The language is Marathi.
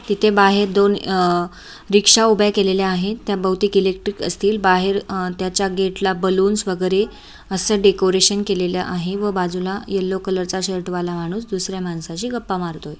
तिथे बाहेर दोन अह रिक्षा उभ्या केलेल्या आहेत त्या बहुतीक एलेक्ट्रिक असतील बाहेर त्याच्या गेटला बलुन्स वगैरे असं डेकोरेशन केलेलं आहे व बाजूला येल्लो कलरचा शर्ट वाला माणूस दुसर्‍या माणसाशी गप्पा मारतोय.